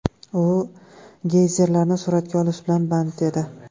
U geyzerlarni suratga olish bilan band edi.